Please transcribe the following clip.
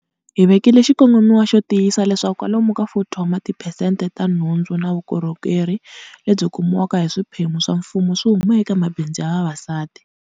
Hi vekile xikongomiwa xo tiyisia leswaku kwalomu ka 40 wa tiphesente wa nhundzu na vukorhokeri lebyi kumiwaka hi swiphemu swa mfumo swi huma eka mabindzu ya vavasati.